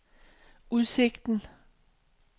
udsigten